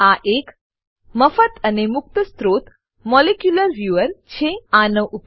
આ એક મફત અને મુક્ત સ્ત્રોત મોલિક્યુલર વ્યૂઅર મોલેક્યુલર વ્યુઅર છે